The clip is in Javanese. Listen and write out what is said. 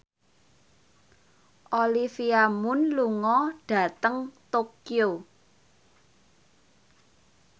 Olivia Munn lunga dhateng Tokyo